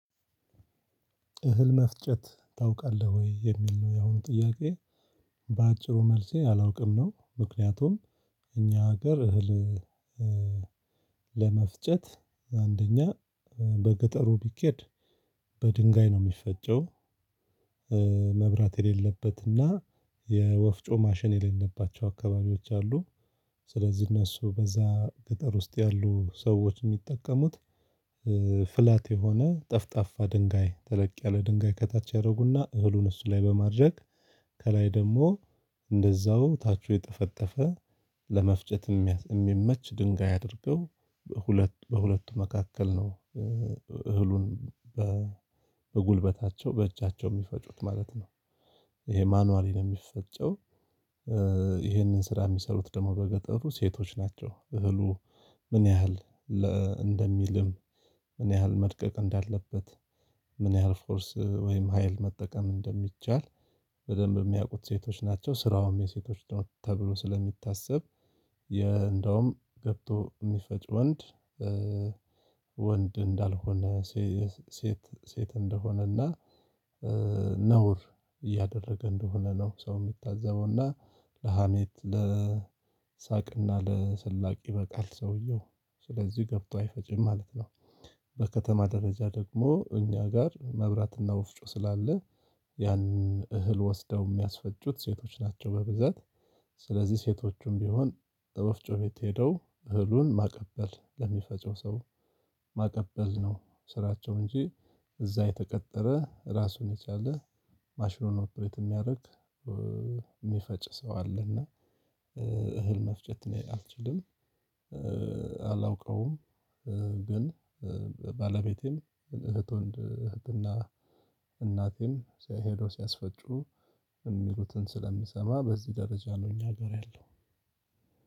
እህል መፍጨት ታውቃለህ ወይ የሚል ነው ያሁኑ ጥያቄ? በአጭሩ መልሴ አላውቅም ነው። ምክንያቱም እኛ ሀገር እህል ለመፍጨት አንደኛ በገጠሩ ቢኬድ በድንጋይ ነው ሚፈጨው። መብራት የሌለበትና የወፍጮ ማሽን የሌለባቸው አካባቢዎች አሉ። ስለዚህ እነሱ በዛ ገጠር ውስጥ ያሉ ሰዎች ሚጠቀሙት ፍላት የሆነ ጠፍጣፋ ድንጋይ ተለቅ ያለ ድንጋይ ከታች ያደርጉና እህሉን እሱ ላይ በማድረግ ከላይ ደግሞ እንደዛው ታቹ የጠፈጠፈ ለመፍጨት እሚመች ድንጋይ አድርገው በሁለቱ በሁለቱ መካከል ነው። እህሉን በጉልበታቸው በእጃቸው ሚፈጩት ማለት ነው። ይሄ ማኑዋሊ ነው ሚፈጨው። ይሄንን ስራ የሚሰሩት ደግሞ በገጠሩ ሴቶች ናቸው። እህሉ ምን ያህል እንደሚልም ምን ያህል መድቀቅ እንዳለበት ምን ያህል ፎርስ ወይም ሀይል መጠቀም እንደሚቻል በደንብ ሚያውቁት ሴቶች ናቸው። ስራውም የሴቶች ነው ተብሎ ስለሚታሰብ። እንደውም ገብቶ ሚፈጭ ወንድ ወንድ እንዳልሆነ ሴት ሴት እንደሆነና ነውር እያደረገ እንደሆነ ነው። ሰው ሚታዘበው እና ለሀሜት ለሳቅ እና ለስላቅ ይበቃል። ሰውየው ስለዚህ ገብቶ አይፈጭም ማለት ነው። በከተማ ደረጃ ደግሞ እኛ ጋር መብራትና ወፍጮ ስላለ ያን እህል ወስደው ሚያስፈጩት ሴቶች ናቸው። በብዛት ስለዚህ ሴቶቹም ቢሆን ወፍጮ ቤት ሄደው እህሉን ማቀበል ለሚፈጨው ሰው ማቀበል ነው ስራቸው እንጂ እዛ የተቀጠረ ራሱን የቻለ ማሽኑን ኦፕሬት ሚያደርግ እሚፈጭ ሰው አለና። እህል መፍጨት እኔ አልችልም አላውቀውም። ግን ባለቤቴም እህት ወንድ እህትና እናቴን ሄዶ ሲያስፈጩ የሚሉትን ስለምሰማ በዚህ ደረጃ ነው እኛ ሀገር ያለው።